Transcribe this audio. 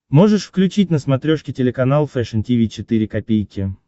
можешь включить на смотрешке телеканал фэшн ти ви четыре ка